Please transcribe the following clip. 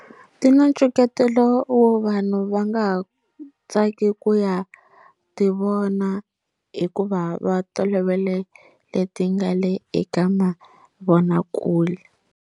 Ti na wo vanhu va nga ha tsaki ku ya ti vona hikuva va tolovele leti nga le eka mavonakule.